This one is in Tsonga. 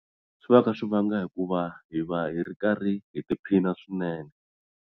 Swi va swi kha swi va nga hikuva hi va hi ri karhi hi tiphina swinene.